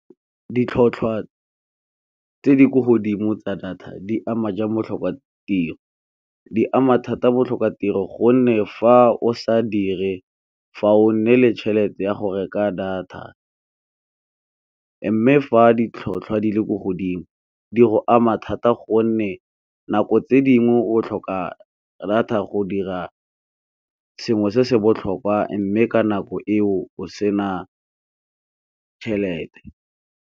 Ditlhotlhwa tse di kwa godimo tsa data di ama jang botlhokatiro? Di ama thata botlhokatiro gonne fa o sa dire fa o nne le tšhelete ya go reka data, mme fa ditlhotlhwa di le ko godimo di go ama thata gonne nako tse dingwe o tlhoka data go dira sengwe se se botlhokwa mme ka nako eo o sena tšhelete.